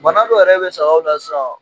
Bana dɔ yɛrɛ be sagaw la sisan